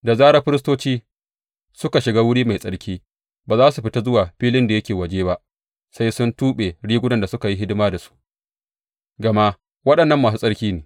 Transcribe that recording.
Da zarar firistoci suka shiga wuri mai tsarki, ba za su fita zuwa filin da yake waje ba sai sun tuɓe rigunan da suka yi hidima da su, gama waɗannan masu tsarki ne.